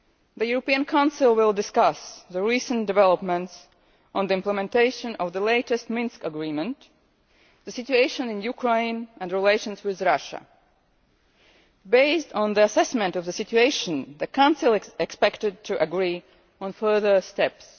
the European Council will discuss the recent developments on the implementation of the latest Minsk Agreement, the situation in Ukraine and relations with Russia. Based on the assessment of the situation, the Council is expected to agree on further steps.